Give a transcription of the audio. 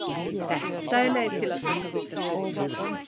Þetta er leið til að taka vítaspyrnur.